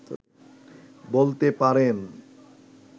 বলতে পারেন